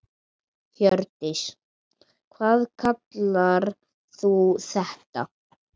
Hjördís: Hvað kallar þú þetta?